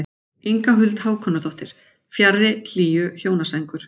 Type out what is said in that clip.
Inga Huld Hákonardóttir: Fjarri hlýju hjónasængur.